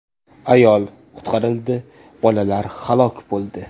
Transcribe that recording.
Ayol qutqarildi, bolalar halok bo‘ldi.